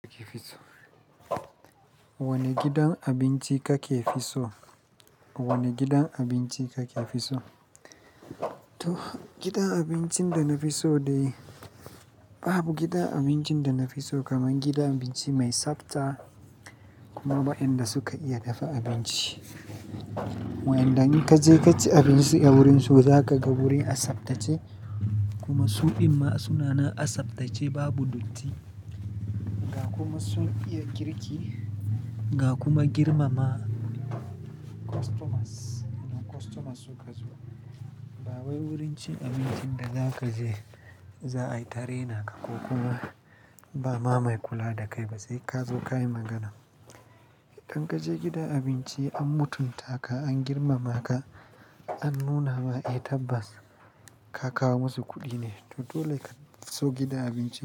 Wane gidan abinci kake fi so? Wane gidan abinci kake fi so? To gidan abincin da na fi so dai babu gidan abincin da na fi so kaman gidan abinci mai tsabta kuma wa inda suke iya dafa abinci. Wa inda in kaje kaci abinci a wurinsu zakaga wuri a tsaftace kuma su ɗin ma sunana a tsaftace babu datti. Ga kuma sun iya girki ga kuma girmama customers, idan customers suka zo ba wai wurin cin abincin da zaka je za'a yi tare naka ko kuma ba ma mai kula da kai ba sai kazo kayi magana. In kaje gidan abinci an mutunta ka an girmama ka an nuna ma eh tabbas ka kawo masu kuɗi ne to dole ka so gidan abincin.